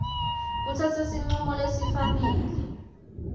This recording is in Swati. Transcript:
kutsatsa sincumo lesifanele